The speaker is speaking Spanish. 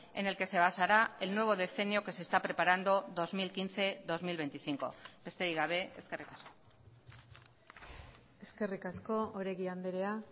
en el que se basará el nuevo decenio que se está preparando dos mil quince dos mil veinticinco besterik gabe eskerrik asko eskerrik asko oregi andrea